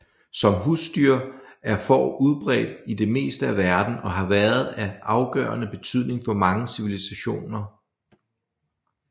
Som husdyr er får udbredt i det meste af verden og har været af afgørende betydning for mange civilisationer